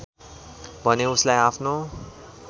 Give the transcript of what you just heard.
भने उसलाई आफनो